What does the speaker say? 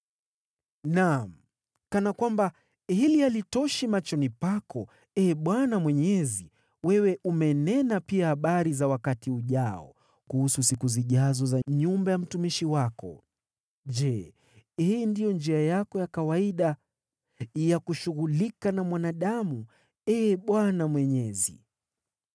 Naam, kana kwamba hili halitoshi machoni pako, Ee Bwana Mwenyezi, wewe umenena pia kuhusu siku zijazo za nyumba ya mtumishi wako. Je, hii ndiyo njia yako ya kawaida ya kushughulika na mwanadamu, Ee Bwana Mwenyezi?